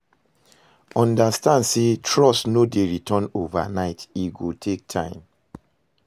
Understand say trust no dey return overnight, e go take time